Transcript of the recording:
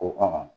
O kama